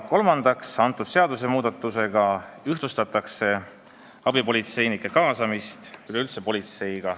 Kolmandaks, muudatusega ühtlustatakse üleüldse abipolitseinike kaasamist politseisse.